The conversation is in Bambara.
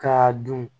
K'a dun